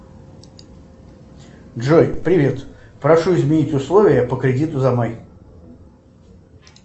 джой привет прошу изменить условия по кредиту за май